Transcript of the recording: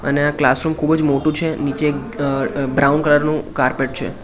અને આ ક્લાસરૂમ ખુબજ મોટુ છે નીચે એક અ બ્રાઉન કલર નુ કાર્પેટ છે.